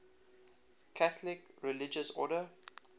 catholic religious order